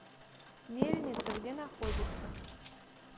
мельница где находится